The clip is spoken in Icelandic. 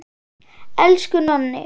Elsku Nonni.